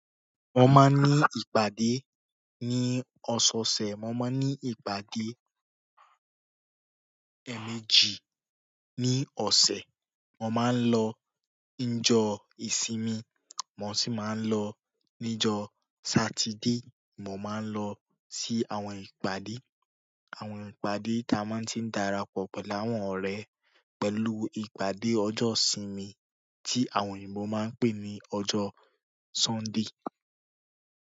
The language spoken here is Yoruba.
Mo máa ń ní ìpàdé ní ọ̀sọ̀ọ̀sẹ̀, mo máa ń ní ìpàdé àá ẹ́ẹ̀mejì ní ọsẹ. Mo maa n lọ nijọ ìsinmi, mo si ma n lọ nijọ satide mo máa ń lọ sí àwọn ìpàdé, àwọn ìpàdé tí a máa ń ti dára pọ̀ pẹ̀lú àwọn ọ̀rẹ́ pẹ̀lú ìpàdé ọjọ́ ìsinmi tí àwọn òyìnbó máa ń pè ní ọjọ́ Sunday.